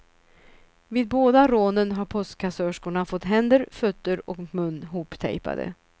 Vid båda rånen har postkassörskorna fått händer, fötter och mun hoptejpade.